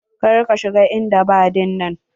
Kar ka shiga en daba dinnan.